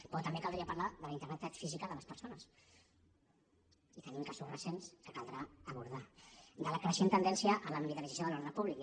però també caldria parlar de la integritat física de les persones i tenim casos recents que caldrà abordar de la creixent tendència a la militarització de l’ordre públic